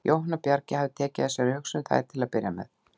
Jóhann á Bjargi hafði tekið að sér að hugsa um þær til að byrja með.